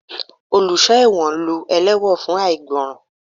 Oluso ẹwọ́n lú ẹlewọ́n fun aigbọran.